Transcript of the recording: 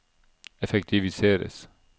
effektiviseres